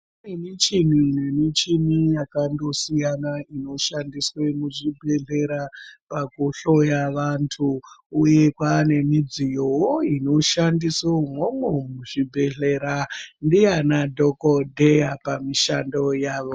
Michini michini yakandosiyana inoshandiswa ndiana dhokodheya inoshandiswa pakuhloya vandu uye paane midziyowo inoshandiswa umwomwo muzvibhedhlera ndiana dhokodheya pamushando yavo.